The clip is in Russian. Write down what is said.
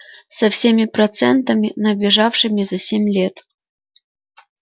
со всеми процентами набежавшими за семь лет